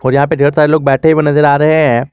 यहां पे ढेर सारे लोग बैठे हुए नजर आ रहे हैं।